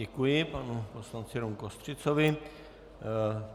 Děkuji panu poslanci Romu Kostřicovi.